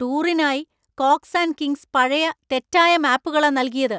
ടൂറിനായി Cox and Kings പഴയ, തെറ്റായ മാപ്പുകളാ നൽകിയത്.